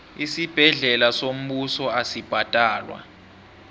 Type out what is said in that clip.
isibhedlela sombuso asibhadalwa